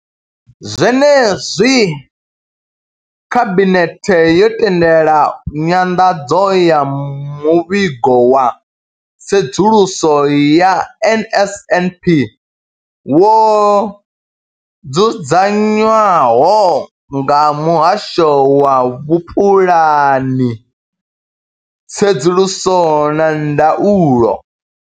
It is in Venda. Zwenezwi khabinethe yo tendela nyanḓadzo ya muvhigo wa tsedzuluso ya NSNP wo dzudzanywaho nga muhasho wa vhupulani, tsedzuluso na ndaulo.